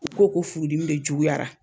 U ko o furu dimi de juguyara.